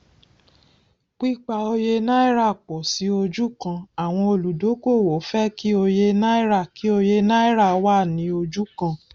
pípa òye náírà pọ sí ojú kan àwọn olúdókòwò fẹ kí òye náírà kí òye náírà wá ní ojú kan